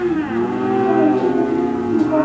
ଚାଲିଛି ସେମିତି ତୁ କହ